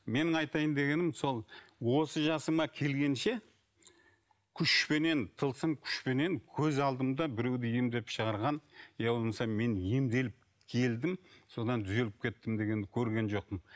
менің айтайын дегенім сол осы жасыма келгенше күшпенен тылсым күшпенен көз алдымда біреуді емдеп шығарған я болмаса мен емделіп келдім содан түзеліп кеттім дегенді көрген жоқпын